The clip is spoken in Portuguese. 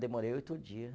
Demorei oito dia.